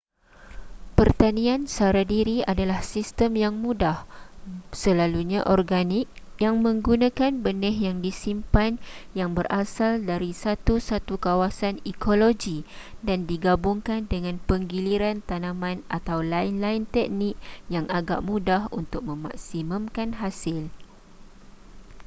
pertanian sara diri adalah sistem yang mudah selalunya organik yang menggunakan benih yang disimpan yang berasal dari satu-satu kawasan ekologi dan digabungkan dengan penggiliran tanaman atau lain-lain teknik yang agak mudah untuk memaksimumkan hasil